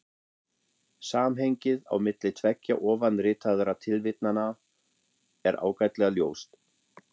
Samhengið á milli tveggja ofanritaðra tilvitnana er ágætlega ljóst.